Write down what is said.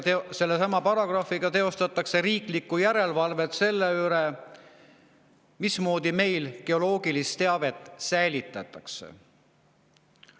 Sellesama paragrahvi kohaselt nimelt teostatakse riiklikku järelevalvet selle üle, mismoodi meil geoloogilist teavet säilitatakse.